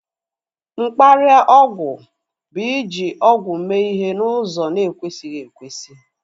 Mkparịa ọgwụ bu iji ọgwụ mee ihe n'ụzọ na ekwesighi ekwesị